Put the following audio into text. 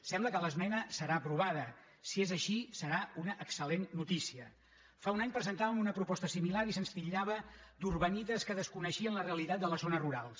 sembla que l’esmena serà aprovada si és així serà una excel·fa un any presentàvem una proposta similar i se’ns titllava d’urbanites que desconeixien la realitat de les zones rurals